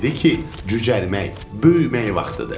Dedi ki, cücərmək, böyümək vaxtıdır.